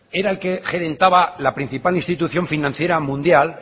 era el que gerentaba la principal institución financiera mundial